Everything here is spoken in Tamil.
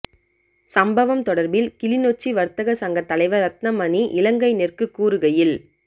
சம்பவம் தொடர்பில் கிளிநொச்சி வர்த்தக சங்கத்தலைவர் ரட்ணமணி இலங்கைநெற் க்கு கூறுகையில்